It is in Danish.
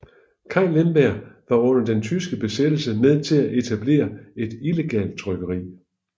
Kai Lemberg var under den tyske besættelse med til at etablere et illegalt trykkeri